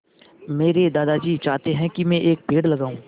मेरे दादाजी चाहते हैँ की मै एक पेड़ लगाऊ